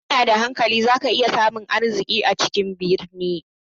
Idan kana da hankali za ka iya samun arziki a cikin birni.